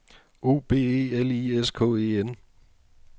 O B E L I S K E N